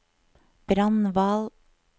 Brandval